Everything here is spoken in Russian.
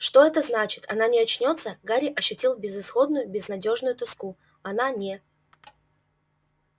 что это значит она не очнётся гарри ощутил безысходную безнадёжную тоску она не